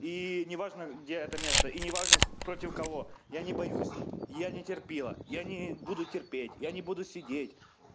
и неважно где это место и неважно против кого я не боюсь я не терпила я не буду терпеть я не буду сидеть